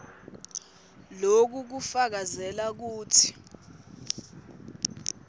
loku kufakazela kutsi